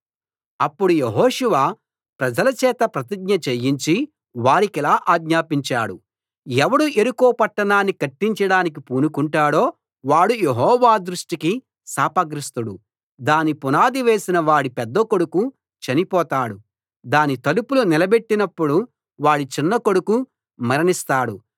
అప్పుడు యెహోషువ ప్రజల చేత ప్రతిజ్ఞ చేయించి వారికిలా ఆజ్ఞాపించాడు ఎవడు యెరికో పట్టణాన్ని కట్టించడానికి పూనుకుంటాడో వాడు యెహోవా దృష్టికి శాపగ్రస్తుడు దాని పునాది వేసిన వాడి పెద్దకొడుకు చనిపోతాడు దాని తలుపులు నిలబెట్టినపుడు వాడి చిన్నకొడుకు మరణిస్తాడు